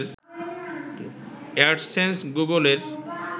AdSense গুগলের